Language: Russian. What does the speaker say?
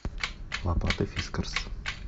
лопата фискарс